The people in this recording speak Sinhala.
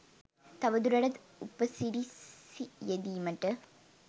තවදුරටත් උපසිරිසි යෙදීමට